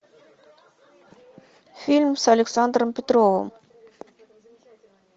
фильм с александром петровым